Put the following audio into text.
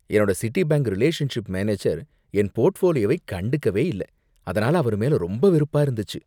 என்னோட Citibank relationship manager என் போர்ட்ஃபோலியோவ கண்டுக்கவே இல்ல, அதனால அவர்மேல ரொம்ப வெருப்பா இருந்துச்சு.